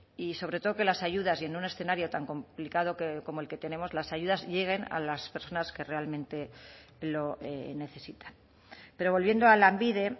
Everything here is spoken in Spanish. y sobre todo que las ayudas y en un escenario tan complicado como el que tenemos las ayudas lleguen a las personas que realmente lo necesitan pero volviendo a lanbide